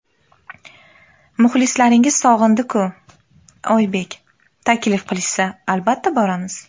Muxlislaringiz sog‘indi-ku... Oybek: Taklif qilishsa, albatta, boramiz.